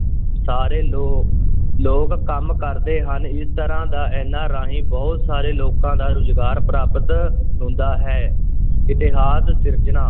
ਸਾਰੇ ਲੋ~ ਲੋਕ ਕੰਮ ਕਰਦੇ ਹਨ, ਇਸ ਤਰ੍ਹਾਂ ਦਾ ਇਨ੍ਹਾ ਰਾਹੀਂ ਬਹੁਤ ਸਾਰੇ ਲੋਕਾਂ ਦਾ ਰੁਜ਼ਗਾਰ ਪ੍ਰਾਪਤ ਹੁੰਦਾ ਹੈ ਇਤਿਹਾਸ ਸਿਰਜਣਾ